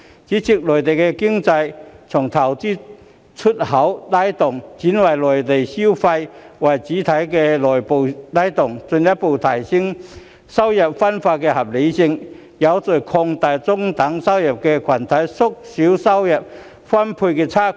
主席，內地經濟從投資和出口拉動，轉換為以內部消費為主體的內需拉動，進一步提升收入分配的合理性，有序擴大中等收入群體，縮小收入分配差距。